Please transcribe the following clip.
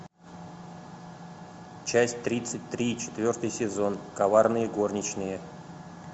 часть тридцать три четвертый сезон коварные горничные